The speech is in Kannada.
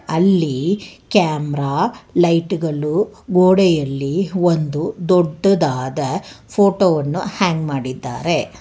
ಅಲ್ಲಿ ಕ್ಯಾಮರಾ ಲೈಟುಗಳು ಗೋಡೆಯಲ್ಲಿ ಒಂದು ದೊಡ್ಡದಾದ ಫೋಟೋವನ್ನು ಹ್ಯಾಂಗ್ ಮಾಡಿದ್ದಾರೆ.